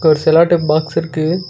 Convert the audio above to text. ஒரு cello tape box இருக்கு.